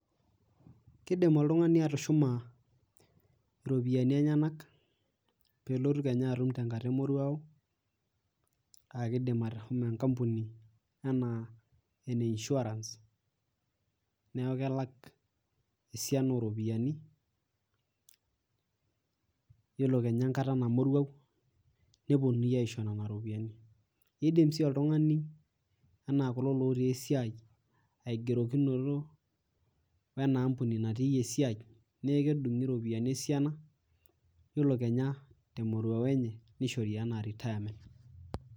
Kidimoltungani atushuma iropiyiani enyenak pelotu kenya atum tenkata emoruawo , naa kidim ashomo enkampuni anaa ene insurance niaku kelak esiana oropiyiani , yiolo kenya enkata namworuau , neponuni aisho nena ropiyiani .Idimsii oltungani anaa kulo ltotii esiai aigerokinoto wena aampuni naatiyie esiai , niaku kedungi iropiyiani esiana ore kenya te moruao enye nishori anaa retirement.